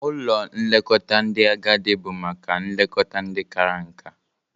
Ụlọ nlekọta ndị agadị bụ maka nlekọta ndị kara nka.